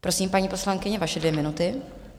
Prosím, paní poslankyně, vaše dvě minuty.